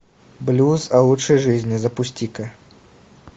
блюз о лучшей жизни запусти ка